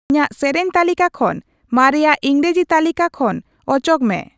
ᱤᱧᱟᱜ ᱥᱮᱨᱮᱧ ᱛᱟᱹᱞᱤᱠᱟ ᱠᱷᱚᱱ ᱢᱟᱨᱮᱭᱟᱜ ᱤᱝᱨᱮᱡᱤ ᱛᱟᱹᱞᱤᱠᱟ ᱠᱚ ᱠᱷᱚᱱ ᱚᱪᱚᱜ ᱢᱮ